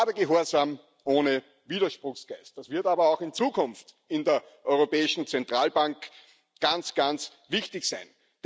Kadergehorsam ohne Widerspruchsgeist das wird aber auch in Zukunft in der Europäischen Zentralbank ganz, ganz wichtig sein.